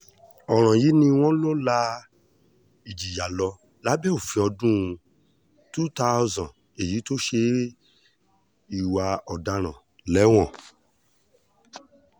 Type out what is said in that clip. ọ̀ràn yìí ni wọ́n lọ la ìjìyà lọ lábẹ́ òfin ọdún two thousand èyí tó ṣe ìwà ọ̀daràn léèwọ̀